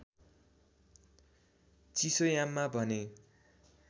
चिसोयाममा भने